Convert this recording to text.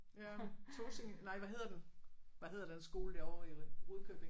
Ja Tåsinge nej hvad hedder den? Hvad hedder den skole derovre i Rudkøbing?